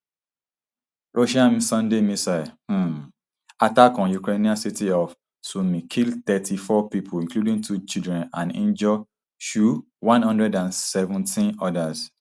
russian sunday missile um attack on ukrainian city of sumy kill thirty-four pipo including two children and injure um one hundred and seventeen odas